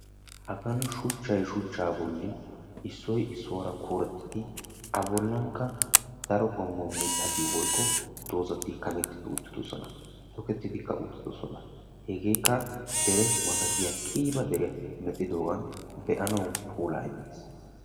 Hagan shuchchay shuchchay issoy issuwa bolla keelletti uttiis. Hegankka keehi daro puula immi uttiis.